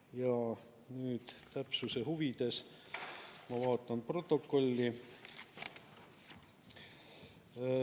Ja nüüd täpsuse huvides ma vaatan protokolli.